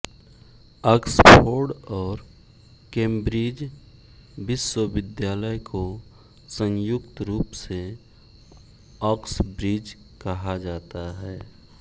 Oxford और Cambridge विश्वविद्यालय को संयुक्त रूप से आक्सब्रिज कहा जाता है